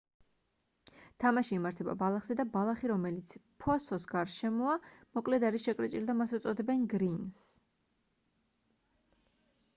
თამაში იმართება ბალახზე და ბალახი რომელიც ფოსოს გარშემოა მოკლედ არის შეკრეჭილი და მას უწოდებენ გრინს